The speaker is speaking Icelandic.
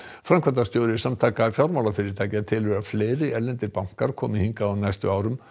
framkvæmdastjóri Samtaka fjármálafyrirtækja telur að fleiri erlendir bankar komi hingað á næstu árum